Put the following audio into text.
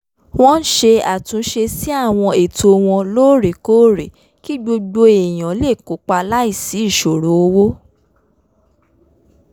wọ́n ń ṣe àtúnṣe sí àwọn ètò wọn lóòrèkóòrè kí gbogbo èèyàn lè kópa láìsí ìṣòro owó